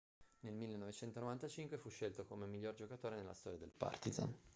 nel 1995 fu scelto come il miglior giocatore nella storia del partizan